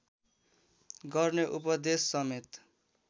गर्ने उपदेशसमेत